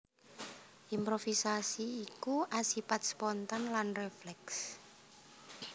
Improvisasi iku asipat spontan lan rèflèks